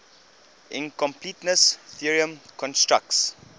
incompleteness theorem constructs